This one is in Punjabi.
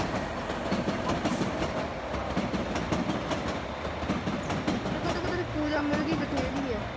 ਤੂੰ ਕਹਿ ਤੈਨੂੰ ਪੂਜਾ ਮਿਲ ਗਈ ਬਥੇਰੀ ਐ